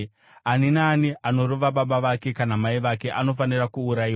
“Ani naani anorova baba vake kana mai vake anofanira kuurayiwa.